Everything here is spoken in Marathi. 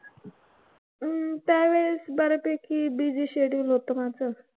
हम्म त्यावेळेस बऱ्यापैकी busy schedule होतं माझं.